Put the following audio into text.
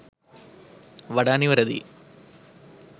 වඩා නිවැරදියි.